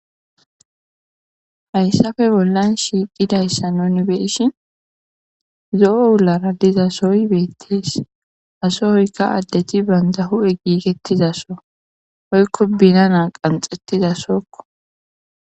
Hayssappe bollan shiiqidayssa nuni be'ishini zo'o wulara dizasoy beetes. ha sohoyka addeti banta huphe giigetiza soho woyko binana qanxetizasoko.